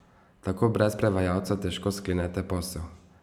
Tako brez prevajalca težko sklenete posel.